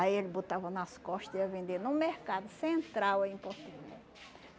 Aí ele botava nas costa e ia vender no mercado central aí em Porto Velho